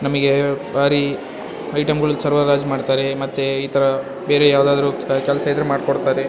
ನಮಿಗೆ ಬರಿ ಐಟೆಮ್ಗಳ ಸರಬರಾಜ್ ಮಾಡ್ತಾರೆ ಮತ್ತೆ ಈ ತರ ಬೇರೆ ಯಾವದಾದ್ರು ಕೆಲಸ ಇದ್ರೆ ಮಾಡ್ ಕೊಡ್ತಾರೆ.